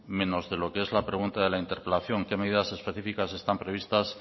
menos de lo que es la pregunta de interpelación qué medidas específicas están previstas